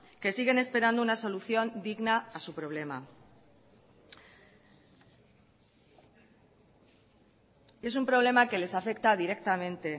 que siguen esperando una solución digna a su problema es un problema que les afecta directamente